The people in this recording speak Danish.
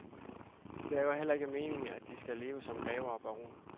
Det er jo heller ikke meningen, at de skal leve som grever og baroner.